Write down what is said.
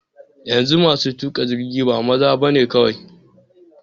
Yanzu masu tuƙa jirgi ba maza bane kawai.